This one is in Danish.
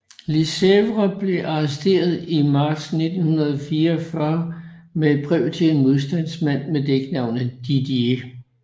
Lesevre blev arresteret i marts 1944 med et brev til en modstandsmand med dæknavnet Didier